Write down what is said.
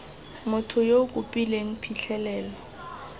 motho yo o kopileng phitlhelelo